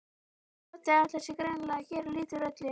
Doddi ætlar sér greinilega að gera lítið úr öllu.